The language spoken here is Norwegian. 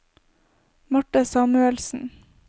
Marthe Samuelsen